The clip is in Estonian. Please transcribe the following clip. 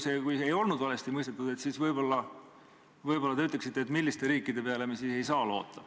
Või kui see ei olnud valesti mõistetud, siis võib-olla te ütleksite, milliste riikide peale me siis ei saa loota.